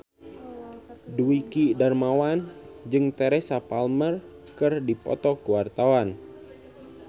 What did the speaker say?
Dwiki Darmawan jeung Teresa Palmer keur dipoto ku wartawan